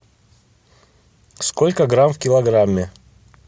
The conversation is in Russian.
сколько грамм в киллограмме